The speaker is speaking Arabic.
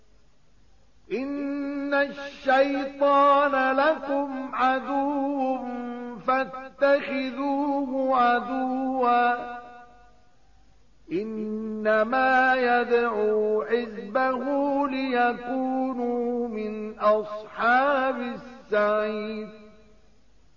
إِنَّ الشَّيْطَانَ لَكُمْ عَدُوٌّ فَاتَّخِذُوهُ عَدُوًّا ۚ إِنَّمَا يَدْعُو حِزْبَهُ لِيَكُونُوا مِنْ أَصْحَابِ السَّعِيرِ